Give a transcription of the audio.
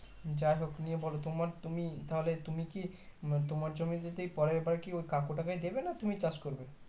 যাই হোক নিয়ে বোলো তোমার তুমি তাহলে তুমি কি মানে তোমার জমি কি পরের বারকি ওই কাকুটাকে দেবে না তুমি চাষ করবে